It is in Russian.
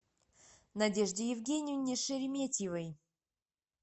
надежде евгеньевне шереметьевой